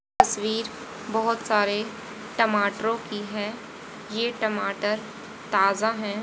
तस्वीर बहुत सारे टमाटरों की है ये टमाटर ताजा हैं।